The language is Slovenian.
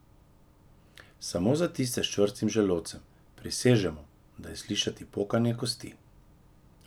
Samo za tiste s čvrstim želodcem, prisežemo, da je slišati pokanje kosti!